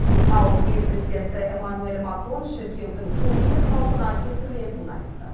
ал ел президенті эмманюэль макрон шіркеудің толығымен қалпына келтірілетінін айтты